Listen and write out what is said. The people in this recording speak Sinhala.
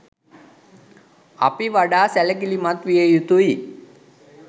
අපි වඩා සැලකිලිමත් විය යුතුයි